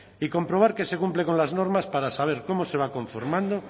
y comprobar que se cumple con las normas para saber cómo se va conformando